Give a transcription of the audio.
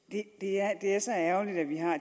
det er så ærgerligt at vi har